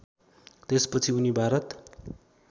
त्यसपछि उनी भारत